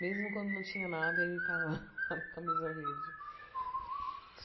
Mesmo quando não tinha nada, ele tava lá na camisa verde.